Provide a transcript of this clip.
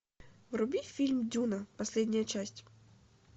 вруби фильм дюна последняя часть